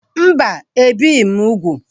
Mba, ebighị m úgwù